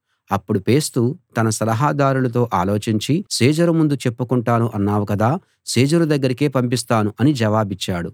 అప్పుడు ఫేస్తు తన సలహాదారులతో ఆలోచించి సీజరు ముందు చెప్పుకొంటాను అన్నావు కదా సీజరు దగ్గరకే పంపిస్తాను అని జవాబిచ్చాడు